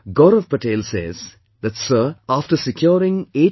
Gaurav Patel says that Sir, afte securing 89